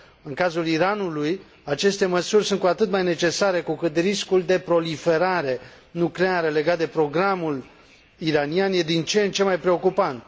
În cazul Iranului, aceste măsuri sunt cu atât mai necesare cu cât riscul de proliferare nucleară legat de programul iranian e din ce în ce mai preocupant.